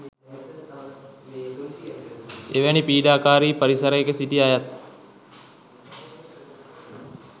එවැනි පීඩාකාරී පරිසරයක සිටි අයත්